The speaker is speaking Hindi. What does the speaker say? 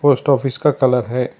पोस्ट ऑफिस का कलर है।